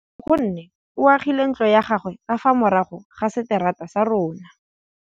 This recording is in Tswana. Nkgonne o agile ntlo ya gagwe ka fa morago ga seterata sa rona.